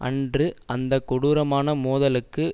அன்று அந்த கொடூரமான மோதலுக்கு